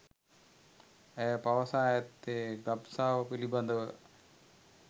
ඇය පවසා ඇත්තේ ගබ්සාව පිලිබඳව